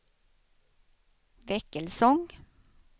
Väckelsång